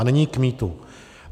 A nyní k mýtu.